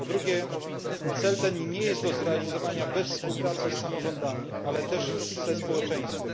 Po drugie, cel ten nie jest do zrealizowania bez współpracy z samorządami, ale również ze społeczeństwem.